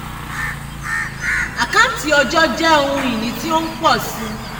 àkáǹtí ọjọ́ jẹ́ ohun ìní tí ń pọ̀ sí i.